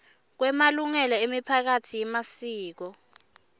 kwemalungelo emiphakatsi yemasiko